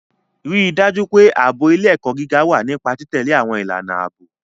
Rí i dájú pé ààbò ilé-ẹ̀kọ́ gíga wà nípa títẹ̀lé àwọn ìlànà ààbò.